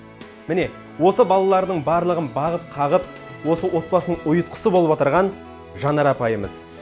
міне осы балалардың барлығын бағып қағып осы отбасының ұйытқысы болып отырған жанар апайымыз